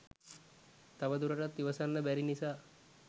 තව දුරටත් ඉවසන්න බැරි නිසා